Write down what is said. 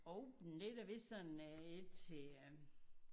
Open det er da vist sådan et til øh